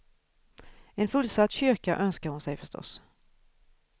En fullsatt kyrka önskar hon sig förstås.